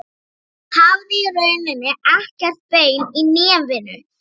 Hún hafði í rauninni ekkert bein í nefinu.